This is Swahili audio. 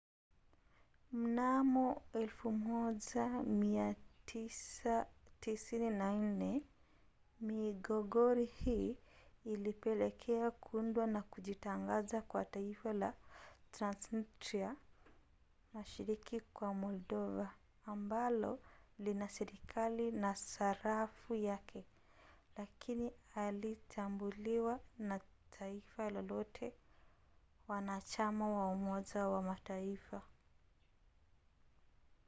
mnamo 1994 migogoro hii ilipelekea kuundwa na kujitangaza kwa taifa la transnistria mashariki mwa moldova ambalo lina serikali na sarafu yake lakini halitambuliwa na taifa lolote wanachama wa umoja wa mataifa